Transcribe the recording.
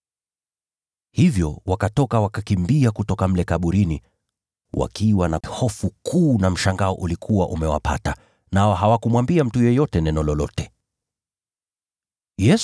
Hivyo wakatoka, wakakimbia kutoka mle kaburini wakiwa na hofu kuu na mshangao. Nao hawakumwambia mtu yeyote neno lolote, kwa sababu waliogopa.